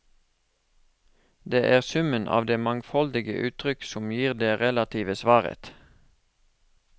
Det er summen av de mangfoldige uttrykk som gir det relative svaret.